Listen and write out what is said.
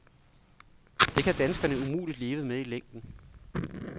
Det kan danskerne umuligt leve med i længden.